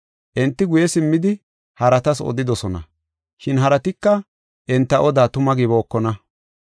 Enti guye simmidi, haratas odidosona, shin haratika enta odaa tuma gibookona.